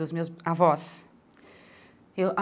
Dos meus avós? Eu